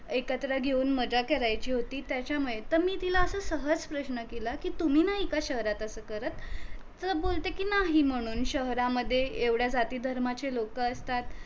एकत्र घेऊन मज्जा करायची होती त्याच्यामुळे तर मी तिला असच सहज प्रश्न केला कि तुम्ही नाही का शहरात अस करत तर बोलते कि नाही म्हणून शहरामध्ये एवढ्या जाती धर्माची लोक असतात